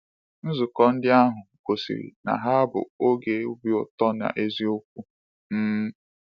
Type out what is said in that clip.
Nzukọ ndị ahụ gosiri na ha bụ oge obi ụtọ n’eziokwu. um